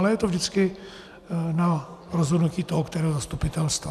Ale je to vždycky na rozhodnutí toho kterého zastupitelstva.